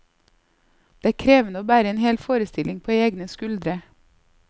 Det er krevende å bære en hel forestilling på egne skuldre.